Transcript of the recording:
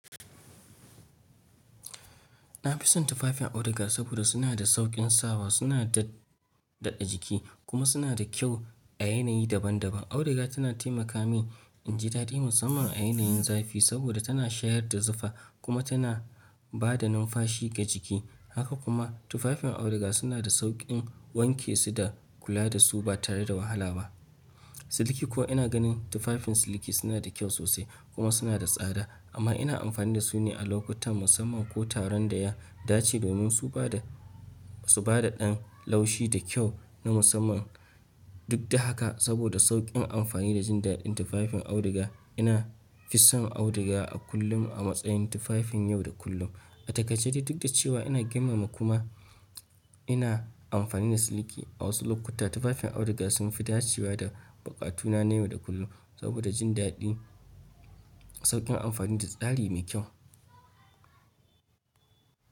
Na fi son tufafin auduga saboda suna da sauƙin sawa, suna daɗa jiki kuma suna da kyau a yanayi daban daban. Auduga tana taimaka min in ji daɗi musamman a yanayin zafi saboda tana shayar da zufa kuma tana bada numfashi ga jiki. Haka kuma tufafin auduga suna da sauƙin wanke su da kula da su ba tare da wahala ba. Siliki ko ina ganin tufafin siliki suna da kyau sosai kuma suna da tsada amma ina amfani da su ne a lokutan musamman ko taron da ya dace domin su ba da, su ba da ɗan laushi da kyau na musamman. Duk da haka saboda sauƙin amfani da jin daɗin tufafin auduga, ina fi son auduga a kullum a matsayin tufafin yau da kullum. A takaice duk da cewa ina girmama kuma ina amfani da siliki a wasu lokuta, tufafin auduga sun fi dacewa da buƙatuna na yau da kullum saboda jin daɗi, sauƙin amfani da tsari mai kyau.